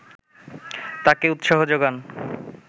তাকে উৎসাহ যোগান